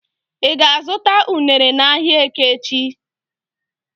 I ga-azuta unere n'ahia eke echi?